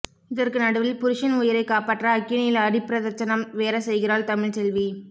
இதற்கு நடுவில் புருஷன் உயிரை காப்பாற்ற அக்கினியில் அடிபிரதட்சணம் வேற செய்கிறாள் தமிழ்ச்செல்வி